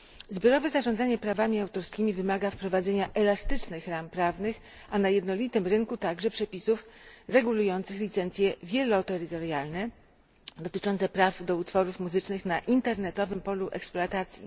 Zbiorowe zarządzanie prawami autorskimi wymaga wprowadzenia elastycznych ram prawnych, a na jednolitym rynku także przepisów regulujących licencje wieloterytorialne dotyczące praw do utworów muzycznych na internetowym polu eksploatacji.